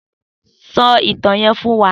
Sò itàn yèn fún wà